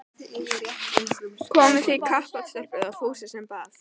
Komið þið í kappát stelpur? það var Fúsi sem bað.